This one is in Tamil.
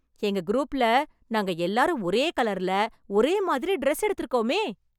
எங்க குரூப்ல, நாங்க எல்லாரும் ஒரே கலர்ல, ஒரே மாதிரி ட்ரெஸ் எடுத்துருக்கோமே...